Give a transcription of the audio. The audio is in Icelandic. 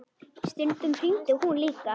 Stundum hringdi hún líka.